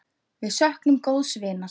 Við söknum góðs vinar.